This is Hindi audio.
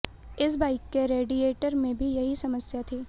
इस बाइक के रेडिएटर में भी यही समस्या थी